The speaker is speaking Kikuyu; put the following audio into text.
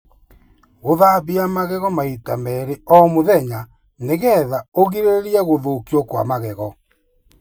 Gũthambia magego maita merĩ o mũthenya nĩgetha ũgirĩrĩrie gũthũkio kwa magego.